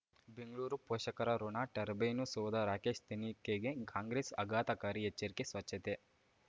ಬೆಂಗಳೂರು ಪೋಷಕರಋಣ ಟರ್ಬೈನು ಸೌಧ ರಾಕೇಶ್ ತನಿಖೆಗೆ ಕಾಂಗ್ರೆಸ್ ಆಘಾತಕಾರಿ ಎಚ್ಚರಿಕೆ ಸ್ವಚ್ಛತೆ